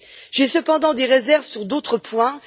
J'ai cependant des réserves sur d'autres points.